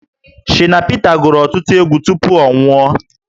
Shina Pita gụrụ ọtụtụ egwu tupu ọ nwụọ